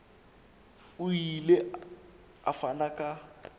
o ile a fana ka